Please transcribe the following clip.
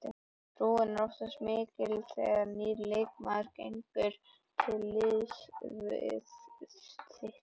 Trúin er oftast mikil þegar nýr leikmaður gengur til liðs við þitt lið.